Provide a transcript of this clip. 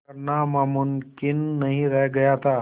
करना मुमकिन नहीं रह गया था